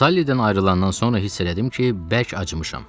Sallidən ayrılandan sonra hiss elədim ki, bərk acımışam.